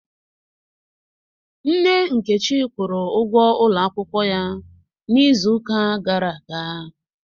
Nne Nkechi kwụrụ ụgwọ ụlọ akwụkwọ ya n'izu ụka gara aga